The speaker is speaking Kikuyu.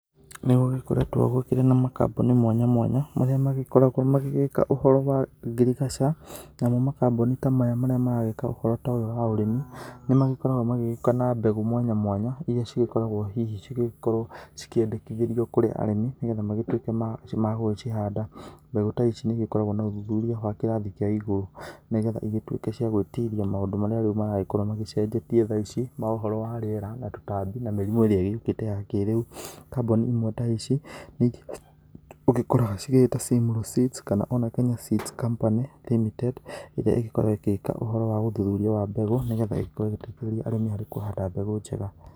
Nĩ gũgĩkoretwo gũkĩrĩ na makambuni mwanya mwanya marĩa magĩkoragwo magĩgĩka ũhoro wa girigaca namo kambuni ta maya marĩa maragĩka ũhoro ta ũyũ wa ũrĩmi nĩ magĩkoragwo magĩgĩka na mbegũ mwanya mwanya iria cigĩkoragwo hihi cigĩkorwo cikĩendekithĩrwo kũrĩ arĩmi nĩgetha magĩtuĩke ma gũcihanda mbegũ ta ici nĩ igĩkoragwo na ũthuthuria wa kĩrathi kĩa igũru nĩgetha ikorwo cia gũĩtiria maũndũ marĩa riũ maragĩkorwo macenjetie ma ũhoro wa rĩera na tũtambi na mĩrimũ ĩrĩa yoke ya kĩrĩu, kambuni imwe ta ici ũkoraga cigĩita Simlaw Seeds kana ona Kenya Seeds Company Limited irĩa ĩgĩkoragwo ĩgĩka ũthũthũria wa mbegũ nĩgetha ĩkorwo ĩgĩteithĩrĩria arĩmi harĩ kũhanda mbegũ njega.